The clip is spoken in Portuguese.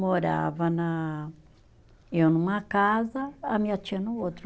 Morava na, eu numa casa, a minha tia no outro.